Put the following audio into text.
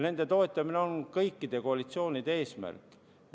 Nende toetamine on kõikide koalitsioonide eesmärk.